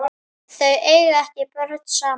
Þau eiga ekki börn saman.